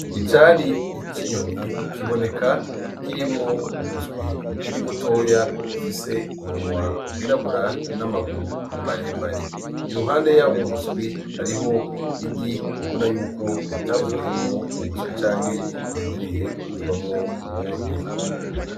Icari ic inyoni kiboneka kirimwo umuswi ukiri mutoya ufise umunwa wirabura n'amaguru mumaremare i ruhande yabo umuswi hariho igi ubuna yuko ritavuyemwo uwu muswi canke ririnderiye kuvamwo uwundi.